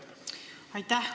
Aitäh!